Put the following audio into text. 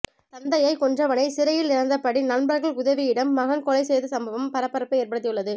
தந்தையை கொன்றவனை சிறையில் இருந்தபடி நண்பர்கள் உதவியுடம் மகன் கொலை செய்த சம்பவம் பரபரப்பை ஏற்படுத்தியுள்ளது